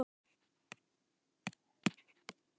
Almennt er litið svo á að úthafið sé svokölluð almenningseign.